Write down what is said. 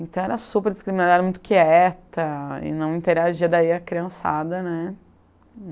Então era super discriminada, era muito quieta e não interagia daí a criançada, né?